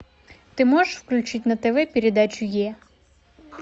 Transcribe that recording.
ты можешь включить на тв передачу е